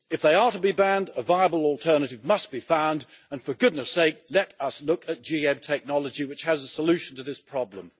If they are to be banned, a viable alternative must be found, and for goodness sake, let us look at GM technology, which has a solution to this problem.